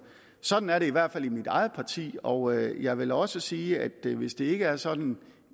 sådan er det i hvert fald i mit eget parti og jeg vil også sige at hvis det ikke er sådan